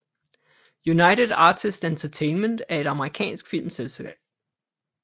United Artists Entertainment er et amerikansk filmselskab